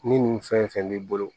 Ni nin fɛn b'i bolo